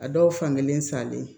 A dɔw fan kelen salen